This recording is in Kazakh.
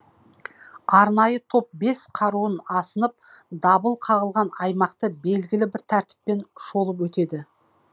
арнайы топ бес қаруын асынып дабыл қағылған аймақты белгілі бір тәртіппен шолып өтеді